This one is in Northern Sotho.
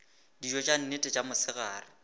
dijo tša nnete tša mosegare